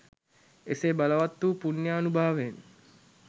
එසේ බලවත් වූ පුණ්‍යානුභාවයෙන්